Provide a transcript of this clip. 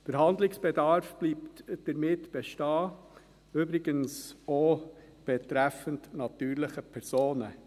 Der Handlungsbedarf bleibt damit bestehen, übrigens auch betreffend die natürlichen Personen.